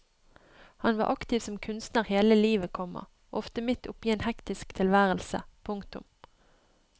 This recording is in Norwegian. Han var aktiv som kunstner hele livet, komma ofte midt oppe i en hektisk tilværelse. punktum